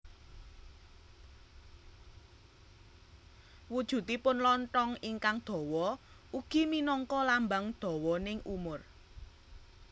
Wujudipun lonthong ingkang dawa ugi minangka lambang dawaning umur